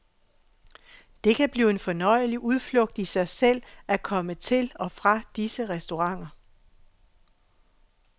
Det kan blive en fornøjelig udflugt i sig selv at komme til og fra disse restauranter.